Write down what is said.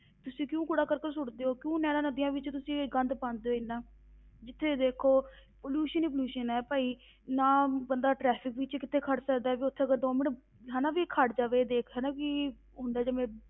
ਤੁਸੀਂ ਕਿਉਂ ਕੂੜਾ ਕਰਕਟ ਸੁੱਟਦੇ ਹੋ, ਕਿਉਂ ਨਹਿਰਾਂ ਨਦੀਆਂ ਵਿੱਚ ਤੁਸੀਂ ਇਹ ਗੰਦ ਪਾਉਂਦੇ ਹੋ ਇੰਨਾ, ਜਿੱਥੇ ਦੇਖੋ pollution ਹੀ pollution ਹੈ ਭਾਈ ਨਾ ਬੰਦਾ traffic ਵਿੱਚ ਕਿਤੇ ਖੜ ਸਕਦਾ ਹੈ, ਵੀ ਉੱਥੇ ਅਗਰ ਦੋ ਮਿੰਟ ਹਨਾ ਵੀ ਖੜ ਜਾਵੇ ਦੇਖ ਹਨਾ ਕਿ ਹੁੰਦਾ ਜਿਵੇਂ